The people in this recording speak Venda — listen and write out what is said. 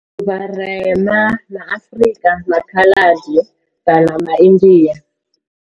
Vharema ma Afrika, ma Khaladi kana ma India.